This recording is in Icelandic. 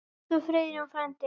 Elsku Friðjón frændi.